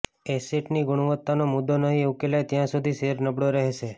એસેટની ગુણવત્તાનો મુદ્દો નહીં ઉકેલાય ત્યાં સુધી શેર નબળો રહેશે